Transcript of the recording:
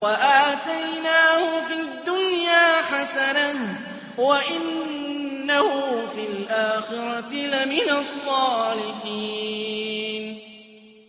وَآتَيْنَاهُ فِي الدُّنْيَا حَسَنَةً ۖ وَإِنَّهُ فِي الْآخِرَةِ لَمِنَ الصَّالِحِينَ